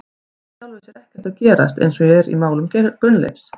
Það er í sjálfu sér ekkert að gerast eins og er í málum Gunnleifs.